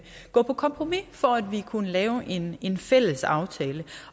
gå på kompromis for at vi kunne lave en en fælles aftale